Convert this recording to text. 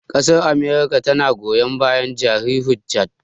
Ƙasar amurka tana goyon bayan jari hujja